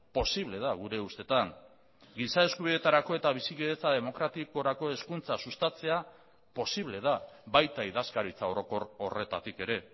posible da gure ustetan giza eskubideetarako eta bizikidetza demokratikorako hezkuntza sustatzea posible da baita idazkaritza orokor horretatik ere